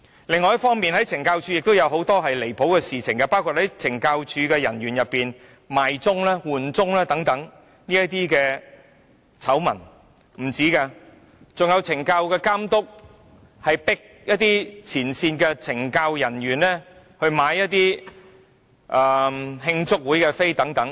另一方面，懲教署本身亦曾發生很多離譜的事情，包括出現懲教署人員"賣鐘"、"換鐘"等醜聞，還有懲教署監督強迫前線懲教署人員購買慶祝會門票等。